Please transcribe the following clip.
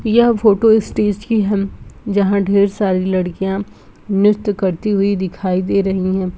यह photo stage की है जहाँ ढेर सारी लड़कियां नृत्य करती हुई दिखाई दे रही है।